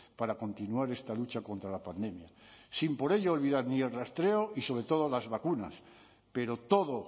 para continuar esta lucha contra la pandemia sin por ello olvidar ni el rastreo y sobre todo las vacunas pero todo